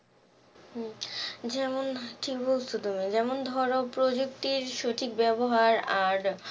উম যেমন কি বলছো তুমি যেমন ধর প্রযুক্তির সঠিক ব্যাবহার আর